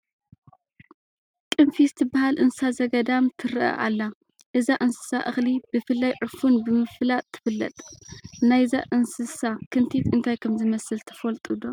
ቅንፊዝ ትበሃል እንስሳ ዘገዳም ትርአ ኣላ፡፡ እዛ እንስሳ እኽሊ ብፍላይ ዕፉን ብምፍላጥ ትፍለጥ፡፡ ናይዛ እንስሳ ክንቲት እንታይ ከምዝመስል ትፈልጡ ዶ?